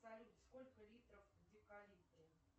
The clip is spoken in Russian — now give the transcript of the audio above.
салют сколько литров в декалитре